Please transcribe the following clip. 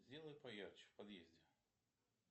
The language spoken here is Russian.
сделай поярче в подъезде